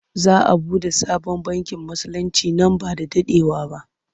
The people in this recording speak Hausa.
Za a buɗe sabon bankin Musulinci nan ba da daɗewa ba.